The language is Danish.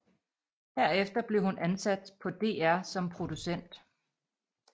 Herefter blev hun ansat på DR som producent